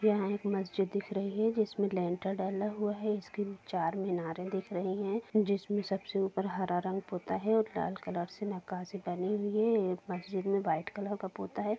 यहां एक मस्जिद दिख रही है जिसमें लैन्टर्न डाला हुआ है इसकी चारमीनारे दिख रही हैं जिसमें सबसे ऊपर हरा रंग पोता है और लाल कलर से नक्काशी बनी हुई है ये मस्जिद में वाइट कलर का पोता है।